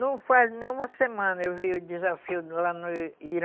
Não faz nem uma semana eu vi o desafio lá no Irã.